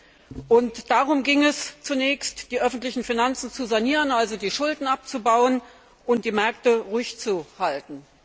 Deshalb ging es zunächst darum, die öffentlichen Finanzen zu sanieren, also die Schulden abzubauen und die Märkte ruhig zu halten.